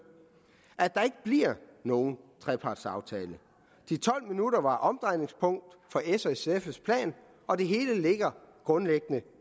at der ikke bliver nogen trepartsaftale de tolv minutter var omdrejningspunkt for s og sfs plan og det hele ligger grundlæggende